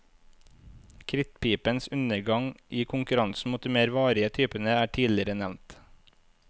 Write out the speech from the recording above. Krittpipens undergang i konkurransen mot de mer varige typene er tidligere nevnt.